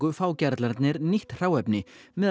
fá gerlarnir nýtt hráefni meðal